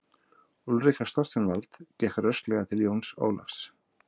Úlrika Stoltzenwald gekk rösklega til Jóns Ólafs.